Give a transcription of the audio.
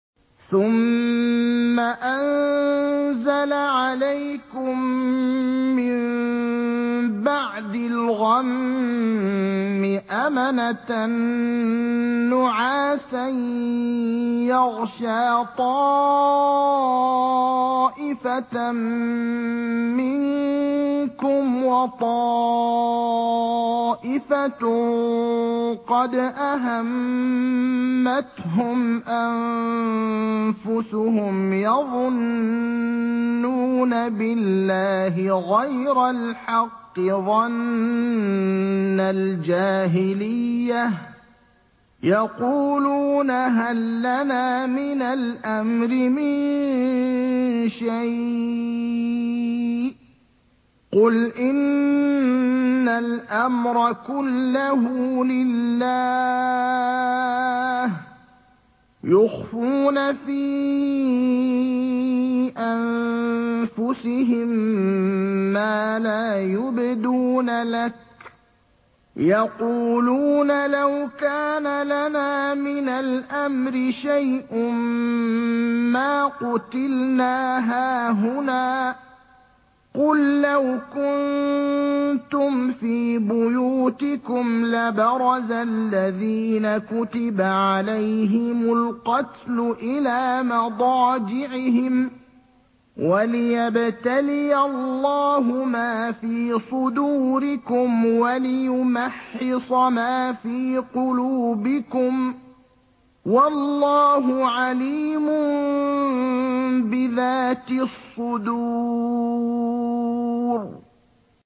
ثُمَّ أَنزَلَ عَلَيْكُم مِّن بَعْدِ الْغَمِّ أَمَنَةً نُّعَاسًا يَغْشَىٰ طَائِفَةً مِّنكُمْ ۖ وَطَائِفَةٌ قَدْ أَهَمَّتْهُمْ أَنفُسُهُمْ يَظُنُّونَ بِاللَّهِ غَيْرَ الْحَقِّ ظَنَّ الْجَاهِلِيَّةِ ۖ يَقُولُونَ هَل لَّنَا مِنَ الْأَمْرِ مِن شَيْءٍ ۗ قُلْ إِنَّ الْأَمْرَ كُلَّهُ لِلَّهِ ۗ يُخْفُونَ فِي أَنفُسِهِم مَّا لَا يُبْدُونَ لَكَ ۖ يَقُولُونَ لَوْ كَانَ لَنَا مِنَ الْأَمْرِ شَيْءٌ مَّا قُتِلْنَا هَاهُنَا ۗ قُل لَّوْ كُنتُمْ فِي بُيُوتِكُمْ لَبَرَزَ الَّذِينَ كُتِبَ عَلَيْهِمُ الْقَتْلُ إِلَىٰ مَضَاجِعِهِمْ ۖ وَلِيَبْتَلِيَ اللَّهُ مَا فِي صُدُورِكُمْ وَلِيُمَحِّصَ مَا فِي قُلُوبِكُمْ ۗ وَاللَّهُ عَلِيمٌ بِذَاتِ الصُّدُورِ